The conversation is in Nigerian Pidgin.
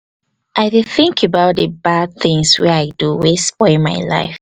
i dey think about di bad things wey i do wey spoil my life